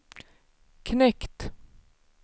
knekt